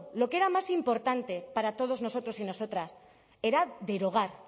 lo que era más importante para todos nosotros y nosotras era derogar